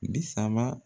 Bi saba